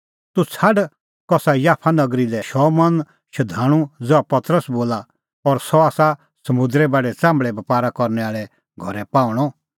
तूह छ़ाड कसा याफा नगरी लै शमौना शधाणूं ज़हा पतरस बोला और सह आसा समुंदरे बाढै च़ाम्भल़े बपारा करनै आल़े घरै पाहूंणअ